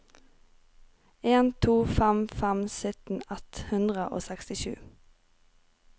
en to fem fem sytten ett hundre og sekstisju